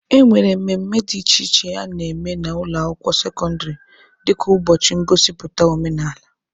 E nwere mmemme dị iche iche a na-eme n'ụlọ akwụkwọ sekọndịrị dịka ụbọchị ngosipụta omenaala.